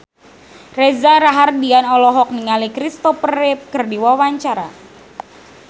Reza Rahardian olohok ningali Christopher Reeve keur diwawancara